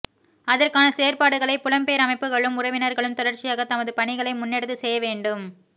அதற்கான செயற்பாடுகளை புலம்பெயர் அமைப்புக்களும் உறவினர்களும் தொடர்ச்சியாக தமது பணிகளை முன்னெடுத்துச் செய்யவேண்டும்